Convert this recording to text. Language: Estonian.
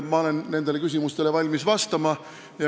Ma olen valmis nendele küsimustele vastama.